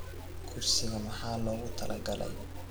Kursiga maxaa loogu talagalay?